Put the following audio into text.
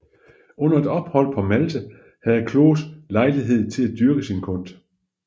Under et ophold på Malta havde Kloss lejlighed til at dyrke sin kunst